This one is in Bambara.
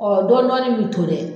dɔɔnin dɔɔnin ni min to dɛ